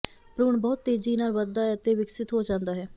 ਭਰੂਣ ਬਹੁਤ ਤੇਜ਼ੀ ਨਾਲ ਵਧਦਾ ਹੈ ਅਤੇ ਵਿਕਸਿਤ ਹੋ ਜਾਂਦਾ ਹੈ